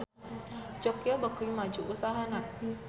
Joyko beuki maju usahana